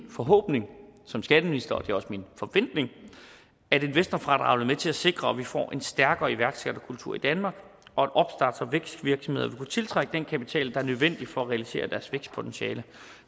forhåbning som skatteminister og det er også min forventning at investorfradraget vil til at sikre at vi får en stærkere iværksætterkultur i danmark og at opstarts og vækstvirksomheder vil kunne tiltrække den kapital der er nødvendig for at realisere deres vækstpotentiale